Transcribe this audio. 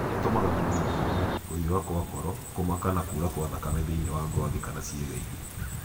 Itũmaga mwĩrĩ ũhiũhe, kũhiũha kwa ngoro, kũmaka na kura kwa thakame thĩ wa ngothi kana ciega ingĩ.